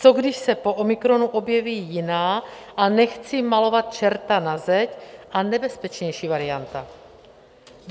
Co když se po omikronu objeví jiná, a nechci malovat čerta na zeď, a nebezpečnější varianta?